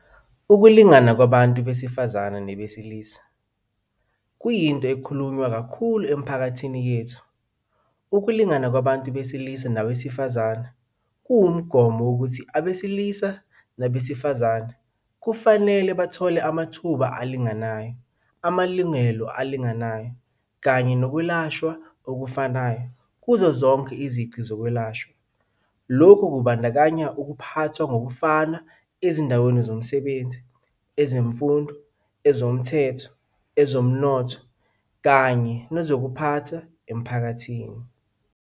Ukulingana kwabantu besifazane nabesilisa kwiyinto ekhulunywa kakhulu emiphakathini yethu.ukulingana kwabantu besilisa nabesifazane kuwumgomo wokuthi abesilisa nabesifazane kufanele bathole amathuba alinganayo, amalungelo alinganayo, kanye nokwelashwa okufanayo kuzozonke izici zokwelashwa. Lokhu kubandakanya ukuphathwa ngokufanayo ezindaweni zomsebenzi, ezemfundo, ezomthetho, ezomnotho kanye kanye nezokuphatha emphakathini.